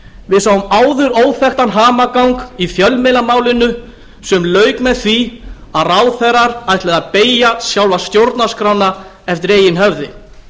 við sáum áður óþekktan hamagang í fjölmiðlamálinu sem lauk með því að ráðherrar ætluðu að beygja sjálfa stjórnarskrána eftir eigin höfði